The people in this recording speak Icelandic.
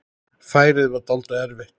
Færið var dálítið erfitt.